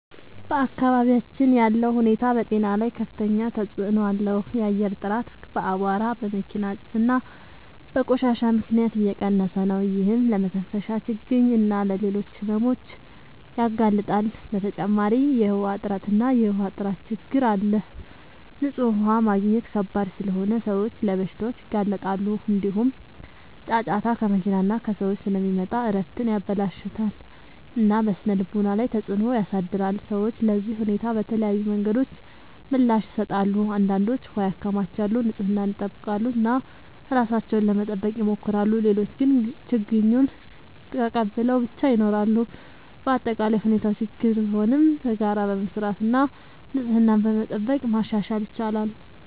በአካባቢያችን ያለው ሁኔታ በጤና ላይ ከፍተኛ ተጽዕኖ አለው። የአየር ጥራት በአቧራ፣ በመኪና ጭስ እና በቆሻሻ ምክንያት እየቀነሰ ነው፤ ይህም ለመተንፈሻ ችግኝ እና ለሌሎች ሕመሞች ያጋልጣል። በተጨማሪ የውሃ እጥረት እና የውሃ ጥራት ችግኝ አለ፤ ንጹህ ውሃ ማግኘት ከባድ ስለሆነ ሰዎች ለበሽታዎች ይጋለጣሉ። እንዲሁም ጫጫታ ከመኪና እና ከሰዎች ስለሚመጣ እረፍትን ያበላሽታል እና በስነ-ልቦና ላይ ተጽዕኖ ያሳድራል። ሰዎች ለዚህ ሁኔታ በተለያዩ መንገዶች ምላሽ ይሰጣሉ። አንዳንዶች ውሃ ያከማቻሉ፣ ንጽህናን ይጠብቃሉ እና ራሳቸውን ለመጠበቅ ይሞክራሉ። ሌሎች ግን ችግኙን ተቀብለው ብቻ ይኖራሉ። በአጠቃላይ ሁኔታው ችግኝ ቢሆንም በጋራ በመስራት እና ንጽህናን በመጠበቅ ማሻሻል ይቻላል።